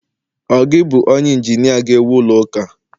ọ gi bu onye injinia ga ewu ulo uka?